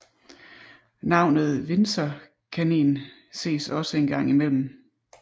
Navnet windsorkanin ses også engang imellem